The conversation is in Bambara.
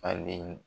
Falen